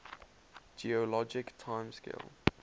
geologic time scale